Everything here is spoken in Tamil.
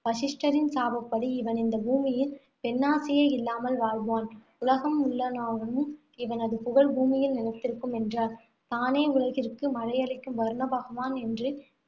வசிஷ்டரின் சாபப்படி இவன் இந்த பூமியில் பெண்ணாசையே இல்லாமல் வாழ்வான். உலகம் இவனது புகழ் பூமியில் நிலைத்திருக்கும், என்றாள். தானே உலகிற்கு மழையளிக்கும் வருணபகவான் என்று